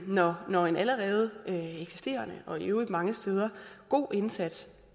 når når en allerede eksisterende og i øvrigt mange steder god indsats